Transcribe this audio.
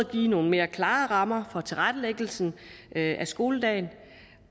give nogle mere klare rammer for tilrettelæggelsen af skoledagen